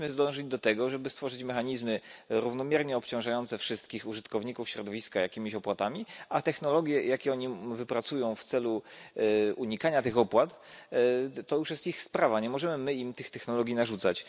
Powinniśmy dążyć do tego, żeby stworzyć mechanizmy równomiernie obciążające wszystkich użytkowników środowiska jakimiś opłatami, a technologie, jakie oni wypracują w celu unikania tych opłat, to już jest ich sprawa, nie możemy my im tych technologii narzucać.